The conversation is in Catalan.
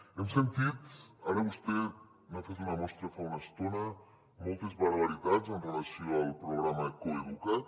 hem sentit ara vostè n’ha fet una mostra fa una estona moltes barbaritats amb relació al programa coeduca’t